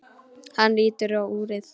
Hann lítur á úrið.